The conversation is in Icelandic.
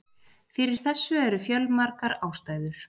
Fyrir þessu eru fjölmargar ástæður.